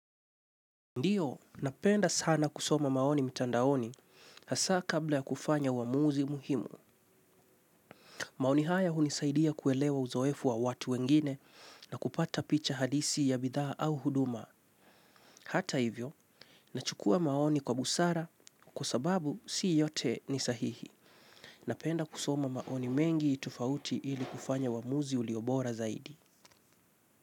Ndiyo, napenda sana kusoma maoni mitandaoni, hasa kabla ya kufanya uwamuzi muhimu. Maoni haya unisaidia kuelewa uzoefu wa watu wengine, na kupata picha halisi ya bidhaa au huduma. Hata hivyo, na chukua maoni kwa busara, kwa sababu si yote ni sahihi. Napenda kusoma maoni mengi tofauti ili kufanya waamuzi uliobora zaidi.